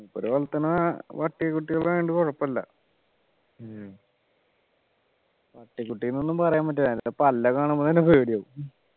മൂപ്പര് വളർത്തുന്ന പട്ടിക്കുട്ടികൾ ആയോണ്ട് കുഴപ്പമില്ല പട്ടിക്കുട്ടി നൊന്നും പറയാൻ പറ്റൂല പല്ലൊക്കെ കാണുമ്പോ തന്നെ പേടിയാകും